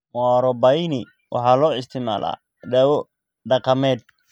Muarobaini waxaa loo isticmaalaa dawo dhaqameed.